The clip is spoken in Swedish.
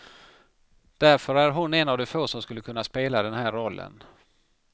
Därför är hon en av de få som skulle kunna spela den här rollen.